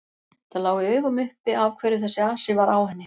Það lá í augum uppi af hverju þessi asi var á henni.